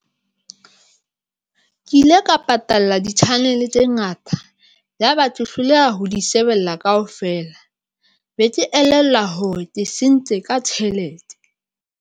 Ke ile ka patalla di-channel tse ngata yaba hloleha ho di shebella kaofela be ke elellwa hore sentse ka tjhelete.